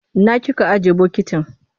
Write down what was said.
Ina kika ajiye bokitin?